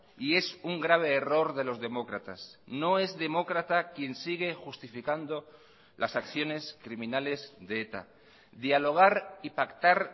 y es un grave error de los demócratas no es demócrata quien sigue justificando las acciones criminales de eta dialogar y pactar